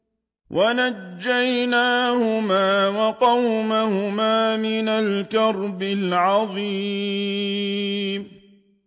وَنَجَّيْنَاهُمَا وَقَوْمَهُمَا مِنَ الْكَرْبِ الْعَظِيمِ